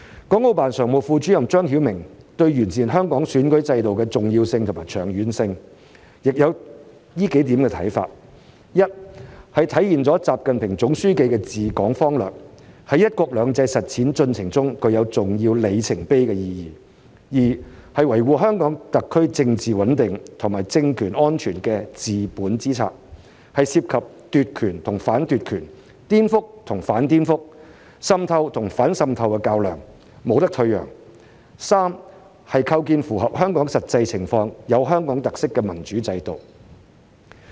港澳辦常務副主任張曉明對完善香港選舉制度的重要性和長遠性，亦有以下數點看法：一、是體現了習近平總書記的治港方略，在"一國兩制"實踐進程中具有重要里程碑意義；二、是維護香港特區政治穩定和政權安全的治本之策，是涉及奪權與反奪權、顛覆與反顛覆、滲透與反滲透的較量，沒有退讓的餘地；三、是構建符合香港實際情況、有香港特色的民主制度。